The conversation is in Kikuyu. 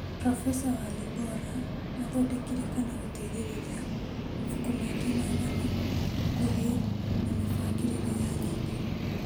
Profesa Walibora athondekire kana gũteithĩrĩria mabuku maingĩ ma ng'ano nguhĩ na mĩbangĩrĩro ya nyĩmbo.